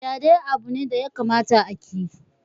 Fyaɗe abu ne da ya kamata a ki